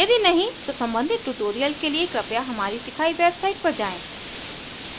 यदि नहीं तो सम्बंधित ट्यूटोरियल के लिए कृपया हमारी दिखाई वेबसाईट पर जाएँ